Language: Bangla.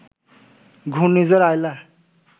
ঘূর্ণিঝড় আইলা